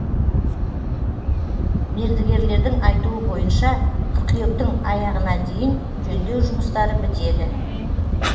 мердігерлердің айтуы бойынша қыркүйектің аяғына дейін жөндеу жұмыстары бітеді